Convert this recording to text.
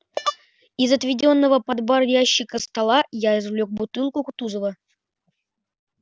из отведённого под бар ящика стола я извлёк бутылку кутузова